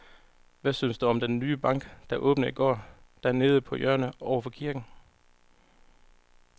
Hvad synes du om den nye bank, der åbnede i går dernede på hjørnet over for kirken?